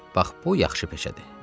Hə, bax bu yaxşı peşədir.